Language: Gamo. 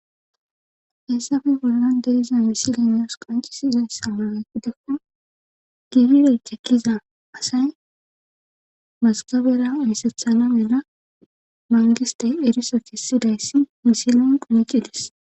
heessafe bollan deriza misile meos qancisiizayssa mala gidekko gibire cekkiza asay masgabera misathana mena mangiste eriso kissidayssi misilen qumicidis